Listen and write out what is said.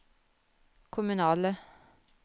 kommunale